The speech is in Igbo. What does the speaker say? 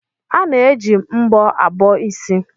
A na-eji mbọ abọ isi.